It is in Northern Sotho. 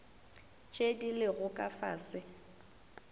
tše di lego ka fase